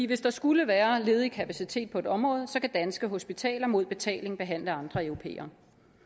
hvis der skulle være ledig kapacitet på et område så kan danske hospitaler mod betaling behandle andre europæere